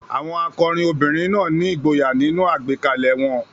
Àwọn akọrin obìnrin náà ní ìgboyà nínú àgbékalẹ̀ won